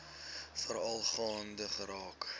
veral gaande geraak